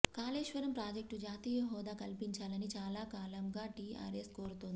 కాళేశ్వరం ప్రాజెక్ట్కు జాతీయ హోదా కల్పించాలని చాలా కాలంగా టీఆర్ఎస్ కోరుతోంది